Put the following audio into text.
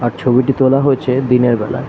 আর ছবিটি তোলা হয়েছে দিনের বেলায় ।